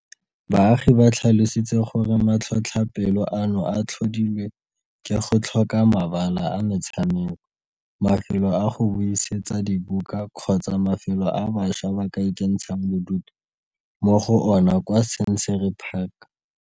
Baagi ba tlhalositse gore matlhotlhapelo ano a tlhodilwe ke go tlhoka mabala a metshameko, mafelo a go buisetsa dibuka kgotsa mafelo a bašwa ba ka ikentshang bodutu mo go ona kwa Scenery Park.